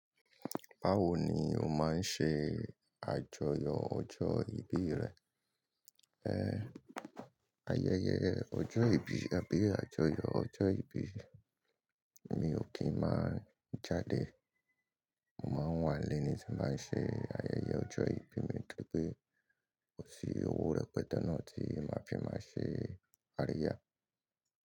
Báwo ni o máa ń ṣe àjọyọ̀ ọjọ́ ìbí rẹ? Ayẹyẹ ọjọ́ ìbí, àbí àjọyọ̀ ọjọ́ ìbí mi ò kí ń máa jadè. Mo máa ń wà nlé ní tin bá ń ṣe ayẹyẹ ọjọ́ ìbí mi torí pé kò sí owó rẹpẹte náà tí màá fi máa ṣe àríyá.